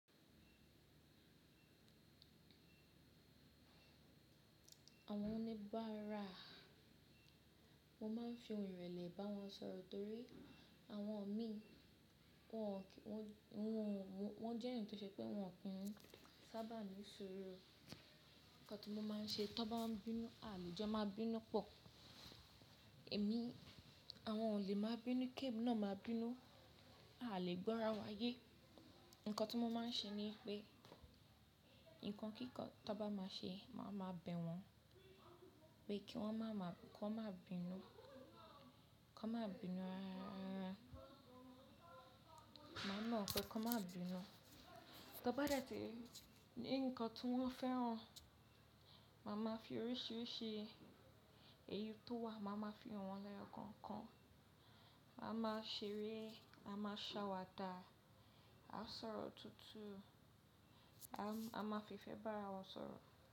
Àwọn oníbàárà mo máà ń fi ohùn ìrẹ̀lẹ̀ bá wọn sọ̀rọ̀ torí àwọn mi wọ́n jẹ́ ènìyàn tó ṣe pé wọn ki n sábà ní suuru. Ǹkan tí mo máa ń ṣe ti won bá ń bínú, a lè jẹ́ máa bínú pọ̀, èmi àwọn ọ̀ lé máa bínú, kémi náà máa bínú, aalè gbọ́ra wáyé. Ǹkan tí mo máa ń ṣe ni pé, ǹkan kíkán tó bá máa ṣe, màá máa bẹ̀ wọ́n, pé kí wọ́n má máa bínú, ki won má bínú rárá. Màá bewon pé ki won má bínú. Ti won bá dẹ̀tì ri ǹkan tí wọ́n fẹ́ràn, màá máa fi oríṣìíríṣìí èyí tó wà, màá máa fi han wọ̀n lẹ́yọ kookan, a máa ṣeré, a máa ṣàwàdà, a sọ̀rọ̀ tutu, a máa fífẹ́ bá ara wa sọ̀rọ̀